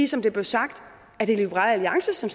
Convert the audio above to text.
som det blev sagt er liberal alliance som